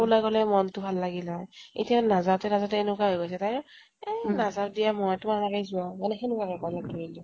উলাই গলে মনতো ভাল লাগিল হয়। এতিয়া নাযাওতে নাযাওতে এনেকুৱা হৈ গৈছে তাইৰ এই নাযাও দিয়া মই, তোমালোকে যোৱা। মানে সেকেনুৱা type ৰ লগ ধাৰিলেও।